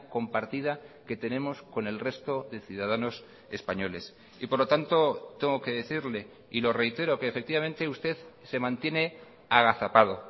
compartida que tenemos con el resto de ciudadanos españoles y por lo tanto tengo que decirle y lo reitero que efectivamente usted se mantiene agazapado